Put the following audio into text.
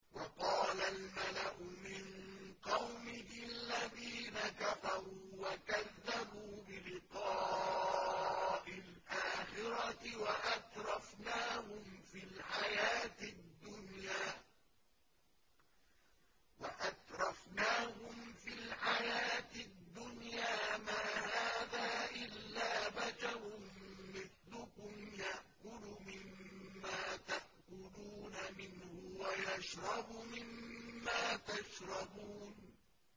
وَقَالَ الْمَلَأُ مِن قَوْمِهِ الَّذِينَ كَفَرُوا وَكَذَّبُوا بِلِقَاءِ الْآخِرَةِ وَأَتْرَفْنَاهُمْ فِي الْحَيَاةِ الدُّنْيَا مَا هَٰذَا إِلَّا بَشَرٌ مِّثْلُكُمْ يَأْكُلُ مِمَّا تَأْكُلُونَ مِنْهُ وَيَشْرَبُ مِمَّا تَشْرَبُونَ